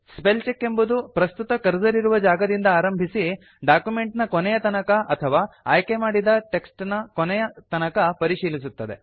spell check ಎಂಬುದು ಪ್ರಸ್ತುತ cursor ಇರುವ ಜಾಗದಿಂದ ಆರಂಭಿಸಿ ಡಾಕ್ಯುಮೆಂಟ್ ನ ಕೊನೆಯ ತನಕ ಅಥವಾ ಆಯ್ಕೆ ಮಾಡಿದ ಟೆಕ್ಸ್ಟ್ ನ ಕೊನೆಯ ತನಕ ಪರಿಶೀಲಿಸುತ್ತದೆ